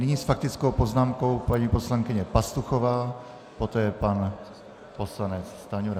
Nyní s faktickou poznámkou paní poslankyně Pastuchová, poté pan poslanec Stanjura.